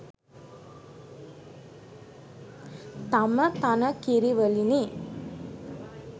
තම තන කිරි වලිනි.